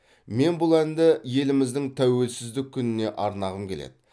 мен бұл әнді еліміздің тәуелсіздік күніне арнағым келеді